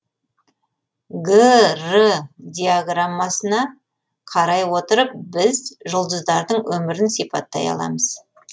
г р диаграммасына қарай отырып біз жұлдыздардың өмірін сипаттай аламыз